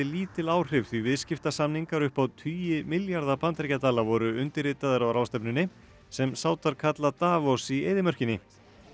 lítil áhrif því viðskiptasamningar upp á tugi milljarða bandaríkjadala voru undirritaðir á ráðstefnunni sem kalla Davos í eyðimörkinni